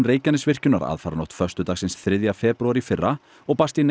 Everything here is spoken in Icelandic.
Reykjanesvirkjunar aðfaranótt föstudagsins þriðja febrúar í fyrra og barst í